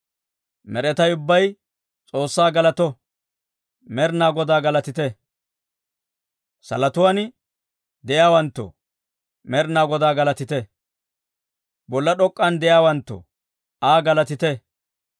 Med'inaa Godaa galatite! Salotuwaan de'iyaawanttoo, Med'inaa Godaa galatite; bolla d'ok'k'an de'iyaawanttoo, Aa galatite.